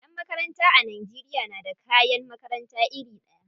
Yan makaranta a Najeriya na da kayan makarata iri ɗaya.